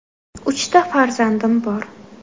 – Uchta farzandim bor.